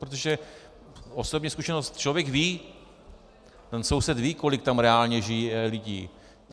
Protože, osobní zkušenost, člověk ví, ten soused ví, kolik tam reálně žije lidí.